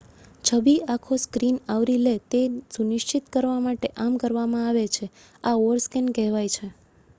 છબી આખો સ્ક્રીન આવરી લે તે સુનિશ્ચિત કરવા માટે આમ કરવામાં આવે છે આ ઓવરસ્કૅન કહેવાય છે